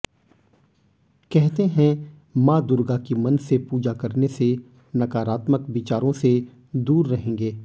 कहते हैं मां दुर्गा की मन से पूजा करने से नकारात्मक विचारों से दूर रहेंगे